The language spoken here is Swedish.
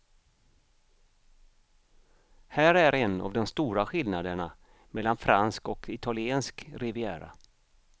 Här är en av de stora skillnaderna mellan fransk och italiensk riviera.